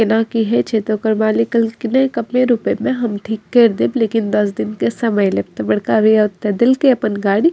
एना की हेय छै ते ओकर मालिक कहलके की कंप्लेन उमप्लेन ने हम ठीक केर देब लेकिन दस दिन के समय लेब ते बड़का भैया ओता देल के अपन गाड़ी।